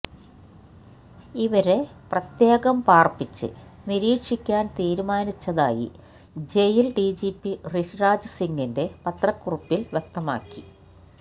ഇവരെ പ്രത്യേകം പാർപ്പിച്ച് നിരീക്ഷിക്കാൻ തീരുമാനിച്ചതായി ജയിൽ ഡിജിപി ഋഷിരാജ് സിംങിന്റെ പത്രക്കുറിപ്പിൽ വ്യക്തമാക്കി